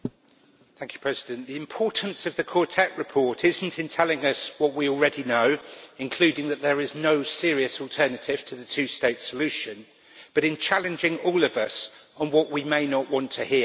Mr President, the importance of the Quartet Report is not in telling us what we already know, for example that there is no serious alternative to the two-state solution, but in challenging all of us on what we may not want to hear.